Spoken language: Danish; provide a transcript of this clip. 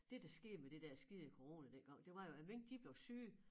Det der skete med det der skide corona dengang det var jo at mink de blev syge